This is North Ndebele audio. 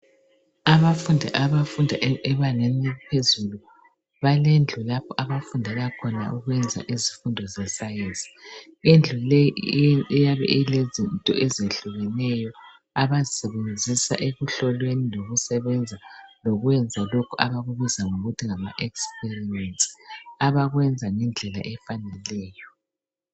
Abafundi abafunda ebangeni eliphezulu balendlu lapho abafundela khona ukwenza izifundo ze sayensi, indlu leyi iyabe ilezinto ezehlukeneyo abazisebenzisa ekuhlolweni lekusebenza lokwenza lokho abakubizwa ngokuthi ngama experiments abakwenza ngendlela efaneleyo.